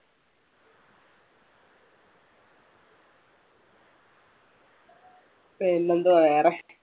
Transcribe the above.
പിന്നെന്തുവാ വേറെ.